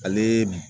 Ale